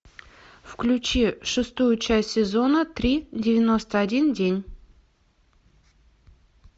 включи шестую часть сезона три девяносто один день